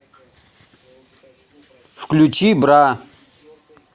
включи бра